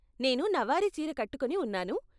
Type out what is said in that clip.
నేను నవారీ చీర కట్టుకొని ఉన్నాను.